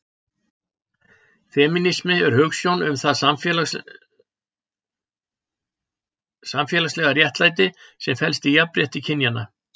femínismi er hugsjón um það samfélagslega réttlæti sem felst í jafnrétti kynjanna